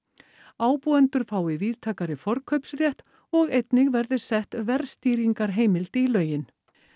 ábúendur fái víðtækari forkaupsrétt og einnig verði sett verðstýringarheimild í lögin